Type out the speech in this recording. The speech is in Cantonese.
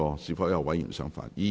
是否有議員想發言？